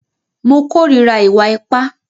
Mo kòrira ìwà ipá.